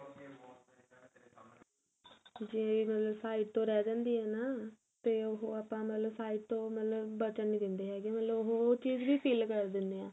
ਤੁਸੀਂ ਇਹੀ ਮਤਲਬ side ਤੋਂ ਰਹਿ ਜਾਂਦੀ ਏ ਨਾ ਤੇ ਉਹ ਆਪਾਂ ਮਤਲਬ side ਤੋਂ ਮਤਲਬ ਬਚਣ ਨਹੀਂ ਦਿੰਦੇ ਹੈਗੇ ਮਤਲਬ ਉਹ ਚੀਜ ਵੀ fill ਕਰ ਦਿੰਦੇ ਆ